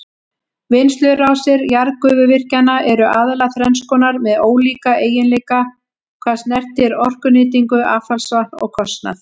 Vinnslurásir jarðgufuvirkjana eru aðallega þrenns konar með ólíka eiginleika hvað snertir orkunýtingu, affallsvatn og kostnað.